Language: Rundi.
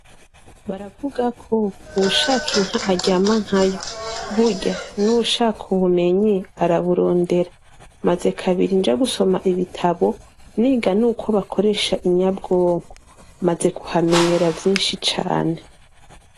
Baravuga ko ushaka inka aryama nkayo burya n' uwushaka ubumenyi araburondera maze kabiri nja gusoma ibitabo niga n' uko bakoresha inyabwongo maze kuhamenyera vyinshi cane.